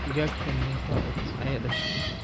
Digagtan megaa ukun aay dashe?